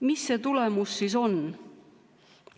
Mis see tulemus siis on?